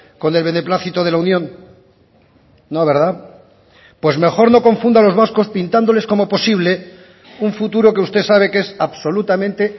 con el beneplácito de la unión no verdad pues mejor no confunda a los vascos pintándoles como posible un futuro que usted sabe que es absolutamente